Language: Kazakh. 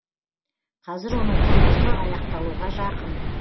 қазір оның құрылысы аяқталуға жақын